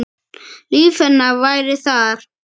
Líf hennar væri þar.